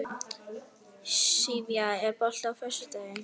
Sivía, er bolti á föstudaginn?